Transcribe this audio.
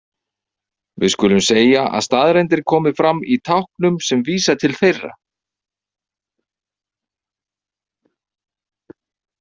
Við skulum segja að staðreyndir komi fram í táknum sem vísa til þeirra.